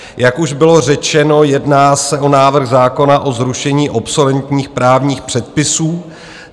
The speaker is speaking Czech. Jak už bylo řečeno, jedná se o návrh zákona o zrušení obsoletních právních předpisů.